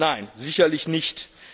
Nein, sicherlich nicht.